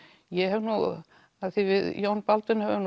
ég hef nú af því við Jón Baldvin höfum